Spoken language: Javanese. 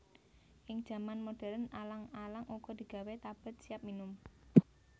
Ing jaman modern alang alang uga digawé tablèt siap minum